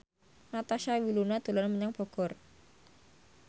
Natasha Wilona dolan menyang Bogor